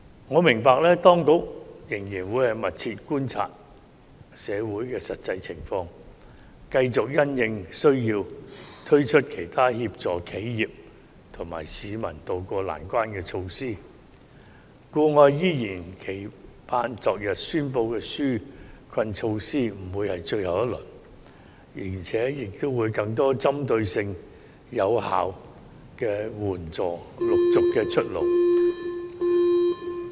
我明白當局會密切觀察社會的實際情況，繼續因應需要推出其他協助企業和市民渡過難關的措施，故我期望昨天宣布的紓困措施不會是最後一輪，並且會有更多具針對性、有效的援助措施陸續出爐。